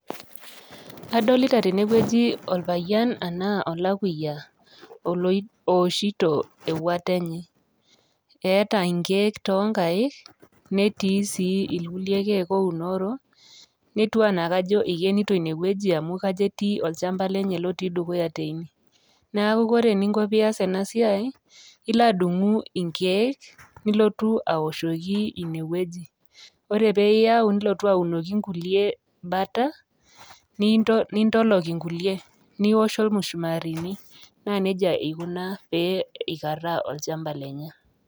Adolita tene wueji orpayian enaa olakuya olo owoshito ewuata enye. Eeta nkeek too nkaek netii sii irkulie keek ounoro, netiu enaa kajo ikenito ine wueji amu kajo etii olchamba lenye lotii dukuya teine. Neeku kore eninko piiyas ena siai ilo adung'u inkeek nilotu awoshoki inewueji. Ore pee iyau nilotu aunoki nkulie bata ninto nintolok nkulie niwosh ormushumarini. Naa neija ikuna pee ikaraa olchamba lenye.